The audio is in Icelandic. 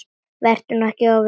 Vertu nú ekki of viss.